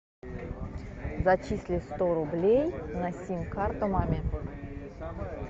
зачисли сто рублей на сим карту маме